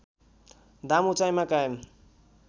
दाम उचाइमा कायम